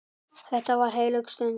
Þetta var heilög stund.